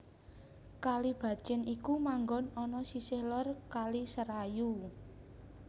Kalibacin iku manggon ana sisih lor Kali Serayu